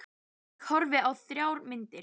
Ég horfði á þrjár myndir.